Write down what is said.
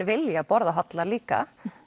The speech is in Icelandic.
vilja borða hollara líka